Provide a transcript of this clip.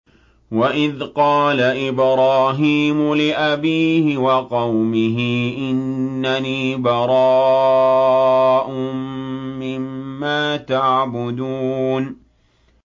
وَإِذْ قَالَ إِبْرَاهِيمُ لِأَبِيهِ وَقَوْمِهِ إِنَّنِي بَرَاءٌ مِّمَّا تَعْبُدُونَ